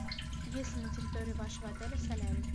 есть ли на территории вашего отеля солярий